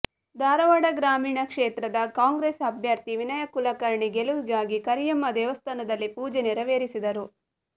ಧಾರವಾಡ ಗ್ರಾಮೀಣ ಕ್ಷೇತ್ರದ ಕಾಂಗ್ರೆಸ್ ಅಭ್ಯರ್ಥಿ ವಿನಯ ಕುಲಕರ್ಣಿ ಗೆಲುವಿಗಾಗಿ ಕರಿಯಮ್ಮ ದೇವಸ್ಥಾನದಲ್ಲಿ ಪೂಜೆ ನೇರವೇರಿಸಿದರು